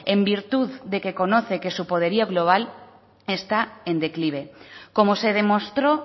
en virtud de que conoce su poderío global está en declive como se demostró